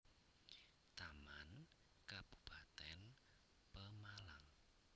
Taman Kabupatén Pemalang